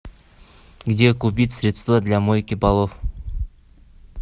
где купить средства для мойки полов